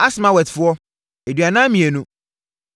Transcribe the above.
Asmawetfo tcr2 42 tc1